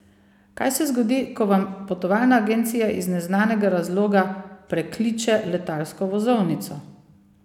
Kaj se zgodi, ko vam potovalna agencija iz neznanega razloga prekliče letalsko vozovnico?